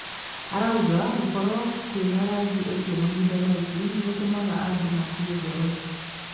Arauga gũkorwo kwĩna rangi ũcio mahinda maingĩ nĩgũtũmaga andũmakue ngoro.